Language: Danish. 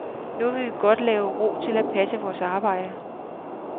Nu vil vi godt have ro til at passe vores arbejde.